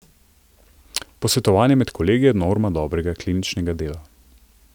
Posvetovanje med kolegi je norma dobrega kliničnega dela.